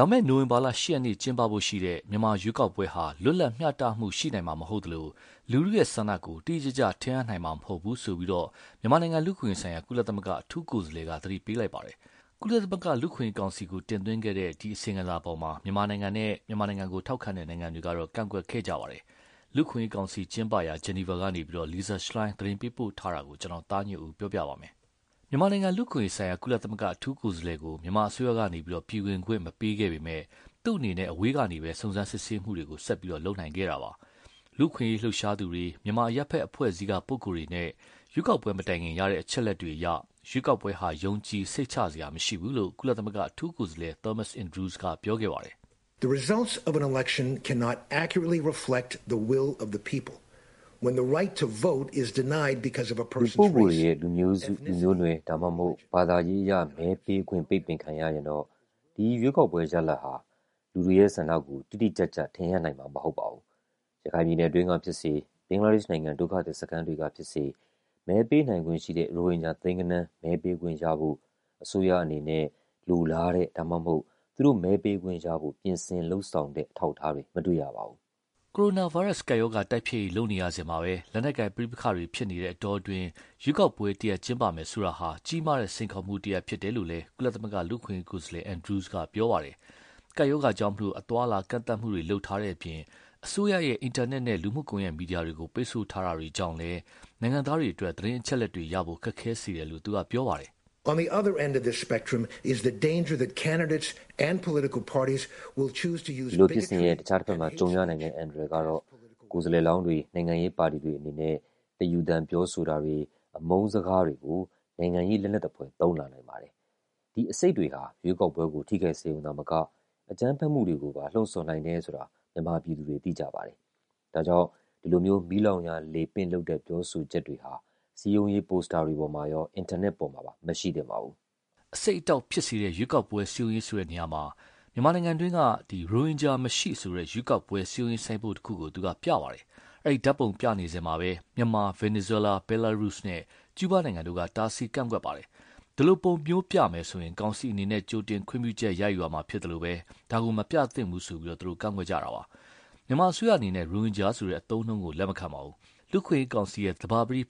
လာမယ့် နိုဝင်ဘာ ၈ ရက်နေ့ ကျင်းပဖို့ ရှိတဲ့ မြန်မာ ရွေးကောက်ပွဲဟာ လွတ်လပ် မျှတမှု ရှိမှာမဟုတ်သလို လူထုရဲ့ဆန္ဒကို တိတိကျကျ ထင်ဟပ်နိုင်မှာ မဟုတ်ဘူးဆိုပြီးတော့ မြန်မာနိုင်ငံလူ့အခွင့်အရေးဆိုင်ရာ ကုလသမဂ္ဂအထူးကိုယ်စားလှယ်က သတိပေးလိုက်ပါတယ်။ ကုလမသဂ္ဂ လူ့အခွင့်အရေးကောင်စီကို တင်သွင်းခဲ့တဲ့ သူ့အစီရင်ခံစာကို မြန်မာကိုထောက်ခံတဲ့နိုင်ငံတွေကတော့ ကန့်ကွက်ခဲ့ကြပါတယ်။ လူ့အခွင့်အရေးကောင်စီကျင်းပရာ Geneva ကနေ Lisa Schlein သတင်းပေးပို့ထားတာကို ကိုသားညွန့်ဦးက ပြောပြပါမယ်။ မြန်မာနိုင်ငံလူ့အခွင့်အရေးဆိုင်ရာ ကုလ အထူးကိုယ်စားလှယ်ကို မြန်မာအစိုးရပေးက နိုင်ငံတွင်း ဝင်ခွင့်မပေးခဲ့ပေမဲ့လည်း သူ့အနေနဲ့ အဝေးကနေပဲ စုံစမ်းစစ်ဆေးမှုတွေကို ဆက်လုပ်နိုင်ခဲ့တာပါ။ လူ့အခွင့်အရေးလှုပ်ရှားသူတွေ မြန်မာအရပ်ဘက်အဖွဲ့အစည်းက ပုဂ္ဂိုလ်တွေနဲ့ ရွေးကောက်ပွဲမတိုင်ခင် ရတဲ့အချက်အလက်တွေအရ ရွေးကောက်ပွဲဟာ ယုံကြည်စိတ်ချစရာမရှိဘူးလို့ ကုလ အထူးကိုယ်စားလှယ် Thomas Andrews က ပြောခဲ့ပါတယ်။ "လူပုဂ္ဂိုလ်တွေရဲ့ လူမျိုးစု လူမျိုးနွယ် ဒါမှမဟုတ် ဘာသာအရ မဲပေးခွင့် ပိတ်ပင်ခံရရင်တော့ ဒီရွေးကောက်ပွဲရဲ့ ရလဒ်ဟာ လူတွေရဲ့ဆန္ဒကို တိတိကျကျ ထင်ဟပ်နိုင်မှာမဟုတ်ပါဘူး။ ရခိုင်ပြည်နယ်အတွင်းကဖြစ်စေ၊ ဘင်္ဂလာဒေ့ရှ်နိုင်ငံ ဒုက္ခသည်စခန်းတွေက ဖြစ်စေ မဲပေးနိုင်ခွင့်ရှိတဲ့ ရိုဟင်ဂျာသိန်းဂဏန်း မဲပေးခွင့်ရဖို့ အစိုးရအနေနဲ့ လိုလားတဲ့ ဒါမှမဟုတ် သူတို့ မဲပေးခွင့်ရဖို့ ပြင်ဆင်လုပ်ဆောင်တဲ့ အထောက်အထားတွေ မတွေ့ရပါဘူး။" ကိုရိုနာဗိုင်းရပ်စ် ကပ်ရောဂါတိုက်ဖျက်ရေးလုပ်နေရစဉ်မှာပဲ လက်နက်ကိုင်ပဋိပက္ခတွေဖြစ်နေတဲ့အတောအတွင်း ရွေးကောက်ပွဲ တရပ်ကျင်းပမယ်ဆိုတာဟာ ကြီးမားတဲ့စိန်ခေါ်မှုဖြစ်နေတယ်လို့လည်း ကုလ လူ့အခွင့်အရေးကိုယ်စားလှယ် Andrews က ပြောပါတယ်။ ကပ်ရောဂါကြောင့် အသွားအလာကန့်သတ်မှုတွေ လုပ်ထားတဲ့အပြင်၊ အစိုးရရဲ့ အင်တာနက်နဲ့ လူမှုကွန်ယက်မီဒီယာတွေကို ပိတ်ဆို့တာတွေကြောင့်လည်း နိုင်ငံသားတွေအတွက် သတင်းအချက်အလက်တွေရဖို့ ခက်ခဲစေတယ်လို့ သူက ပြောပါတယ်။ "ဒီလိုဖြစ်စဉ်ရဲ့ အခြားတဘက်မှာ ကြုံရနိုင်တဲ့ အန္တရာယ်ကတော့ ကိုယ်စားလှယ်လောင်းတွေ နိုင်ငံပါတီတွေအနေနနဲ့ တယူသန်ပြောဆိုတာတွေ အမုန်းစကားတွေကို နိုင်ငံရေးလက်နက်သဖွယ်သုံးလာနိုင်ပါတယ်။ ဒီ အဆိပ်တွေဟာ ရွေးကောက်ပွဲကို ထိခိုက်စေရုံသာမက၊ အကြမ်းဖက်မှုတွေကိုပါ လှုံဆော်နိုင်တယ်ဆိုတာ မြန်မာပြည်သူတွေ သိကြပါတယ်။ ဒါကြောင့် ဒီလို မီးလောင်ရာလေပင့်လုပ်တဲ့ပြောဆိုချက်တွေဟာ စည်းရုံးရေး poster တွေပေါ်မှာရော အင်တာနက်ပေါ်မှာပါ မရှိသင့်ပါဘူး။" အဆိပ်အတောက်ဖြစ်စေတဲ့ ရွေးကောက်ပွဲ စည်းရုံးရေးဆိုတဲ့နေရာမှာ မြန်မာနိုင်ငံတွင်းက ရိုဟင်ဂျာမရှိဆိုတဲ့ ရွေးကောက်ပွဲစည်းရုံးရေးဆိုင်းပုဒ်တခုကို သူက ပြပါတယ်။ အဲဒီ ဓါတ်ပုံပြနေစဉ်မှာပဲ မြန်မာ၊ ဗင်နီဇွဲလား၊ ဘဲလားရုစပ်နဲ့ ကျူူးဘားနိုင်ငံတို့က တားဆီးကန့်ကွက်ခဲ့ပါတယ်။ ဒီလို ပုံမျိုးပြမယ်ဆိုရင ်ကောင်စီအနေနဲ့ ကြိုတင်ခွင့်ပြုချက်ယူရမှာဖြစ်သလို မပြသင့်ဘူးလို့ ကန့်ကွက်ကြတာပါ။ မြန်မာအစိုးရအနေနဲ့ ရိုဟင်ဂျာဆိုတဲ့အသုံးအနှုန်းကို လက်မခံပါဘူး။ လူ့အခွင့်အရေးကောင်စီ သဘာပတိ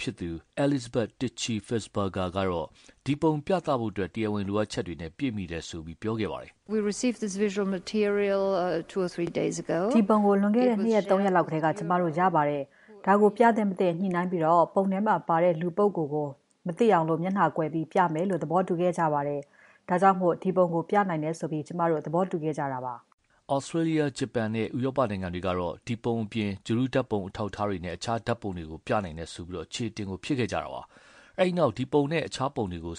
Elisabethy Tichy-Fisslberger ကတော့ ဒီပုံပြသဖို့ တရားဝင်လိုအပ်ချက်တွေနဲ့ ပြည့်မှီတယ်လို့ ပြောပါတယ်။ "ဒီပုံကို လွန်ခဲ့တဲ့ နှစ်ရက်၊ သုံးရက်လောက်ကတည်းက ကျမတို့ ရပါတယ်။ ဒါကို ပြသင့် မသင့် ညှိနှိုင်းပြီးတော့ ပုံထဲမှာပါတဲ့ လူပုဂ္ဂိုလ်ကို မသိအောင် မျက်နှာကိုကွယ်ပြီး ပြမယ်လို့ သဘောတူခဲ့ကြပါတယ်။ ဒါကြောင့် ဒီပုံကို ပြနိုင်တယ်ဆိုပြီး ကျမတို့ သဘောတူခဲ့ဲကြတာပါ။" သြစတြေးလျ၊ ဂျပန် နဲ့ ဥရောပနိုင်ငံတွေကတော့ ဒီပုံအပြင် ဂြိုလ်တုဓါတ်ပုံအထောက်အထားတွေနဲ့ အခြားဓါတ်ပုံတွေကို ပြနိုင်တယ်ဆိုပြီး အချေအတင် ဖြစ်ခဲ့ကြပါတယ်။ အဲဒီနောက် ဒီပုံနဲ့ အခြားပုံတွေကို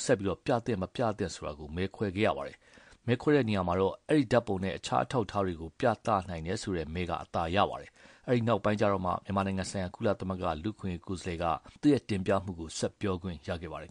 ပြသင့်မသင့်ဆိုတာကို မဲခွဲခဲ့ရပါတယ်။ အဲဒီ နောက်မဲခွဲတဲ့အခါ ဒီဓါတ်ပုံနဲ့အခြားအထောက်အထားတွေ ပြနိုင်တယ်ဆိုတဲ့ မဲက အသာရပါတယ်။ အဲဒီ နောက်မှာမှ မြန်မာနိုင်ငံဆိုင်ရာ ကုလ လူ့အခွင့်အရေးကိုယ်စားလှယ်က သူ့တင်ပြမှု ဆက်ပြောခွင့် ရခဲ့ပါတယ်